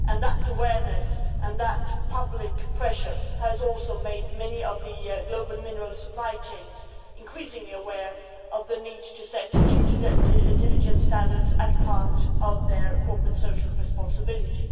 That awareness and that public pressure has also made many of the global mineral supply chains increasingly aware of the need to set due diligence standards as part of their corporate social responsibility.